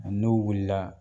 N'o wulila